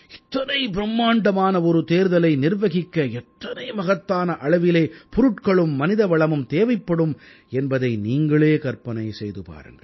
இத்தனை பிரும்மாண்டமான ஒரு தேர்தலை நிர்வகிக்க எத்தனை மகத்தான அளவிலே பொருட்களும் மனிதவளமும் தேவைப்படும் என்பதை நீங்களே கற்பனை செய்து பாருங்கள்